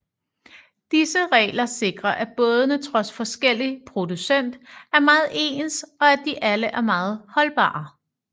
Disse regler sikrer at bådene trods forskellig producent er meget ens og at de alle er meget holdbare